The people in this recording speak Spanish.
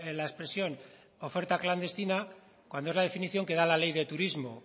la expresión oferta clandestina cuando es la definición que da la ley de turismo